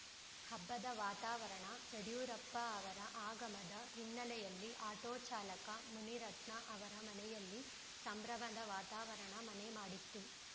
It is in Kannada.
ಹಬ್ಬದ ವಾತಾವರಣ ಯಡಿಯೂರಪ್ಪ ಅವರ ಆಗಮದ ಹಿನ್ನೆಲೆಯಲ್ಲಿ ಆಟೋ ಚಾಲಕ ಮುನಿರತ್ನ ಅವರ ಮನೆಯಲ್ಲಿ ಸಂಭ್ರಮದ ವಾತಾವರಣ ಮನೆ ಮಾಡಿತ್ತು